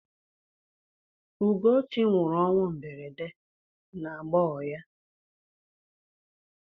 Ugochi nwụrụ ọnwụ mberede n'agbọghọ ya.